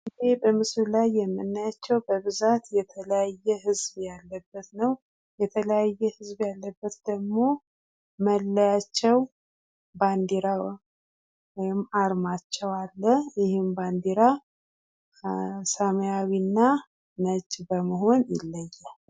ይህ በምስሉ ላይ የምናያቸው በብዛት የተለያዩ ህዝብ ያለበት ነው። የተለያየ ህዝብ ያለበት ደሞ መለያቸው ወይም ባንዲራ አርማቸው አለ ይህም ባንዲራ ሰማያዊ እና ነጭ በመሆኑ ይለያል።